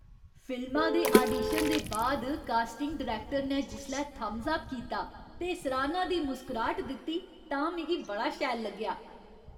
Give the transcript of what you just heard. फिल्मा दे आडीशन दे बाद कास्टिंग डायरैक्टर ने जिसलै थम्स अप कीता ते सराह्ना दी मुस्कराह्ट दित्ती तां मिगी बड़ा शैल लग्गेआ।